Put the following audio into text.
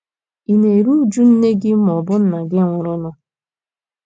Ị̀ na - eru uju nne gị ma ọ bụ nna gị nwụrụnụ?